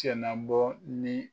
Cɛ na bɔ ni